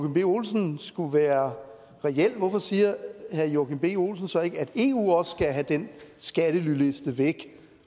b olsen skulle være reel hvorfor siger herre joachim b olsen så ikke at eu også skal have den skattelyliste væk